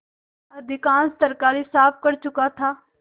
अधिकांश तरकारी साफ कर चुका था